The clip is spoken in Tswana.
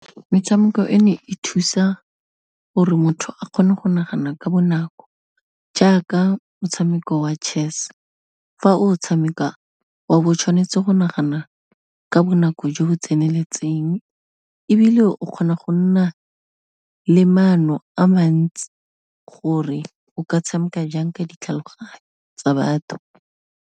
Metshameko e ne e thusa gore motho a kgone go nagana ka bonako jaaka motshameko wa chess, fa o tshameka, wa bo o tshwanetse go nagana ka bonako jo bo tseneletseng, ebile o kgona go nna le maano a mantsi gore o ka tshameka jang ka ditlhaloganyo tsa batho.